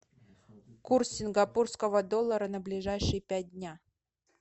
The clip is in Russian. курс сингапурского доллара на ближайшие пять дня